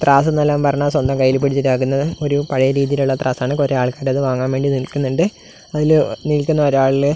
ത്രാസ് എന്നാൽ പറഞ്ഞാൽ സ്വന്തം കയ്യിൽ പിടിച്ചിട്ട് ആക്കുന്ന ഒരു പഴയ രീതിയിലുള്ള ത്രാസാണ് കുറെ ആൾക്കാർ അത് വാങ്ങാൻ വേണ്ടി നിൽക്കുന്നുണ്ട് അതില് നിൽക്കുന്ന ഒരു ആളിന്--